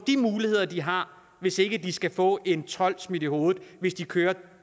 de muligheder de har hvis ikke de skal få en told smidt i hovedet hvis de kører